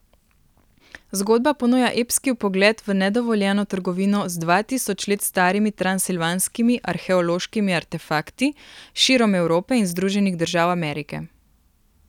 Zgodba ponuja epski vpogled v nedovoljeno trgovino z dva tisoč let starimi transilvanskimi arheološkimi artefakti širom Evrope in Združenih držav Amerike.